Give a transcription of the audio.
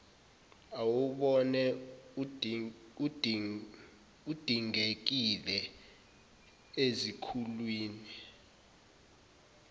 awubona udingekile ezikhulwini